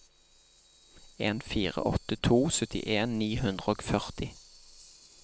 en fire åtte to syttien ni hundre og førti